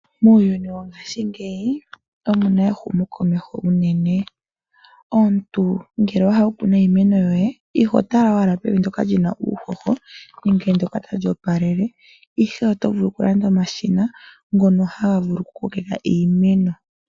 Muuyuni wongaashingeyi omu na ehumokomeho unene. Omuntu ngele owa hala okukuna iimeno yoye, iho tala owala pevi ndyoka li ba uuhoho nenge ndyoka tali opaleke, ihe oto vulu okulanda omashina ngono haga vulu okukokeka iimeno.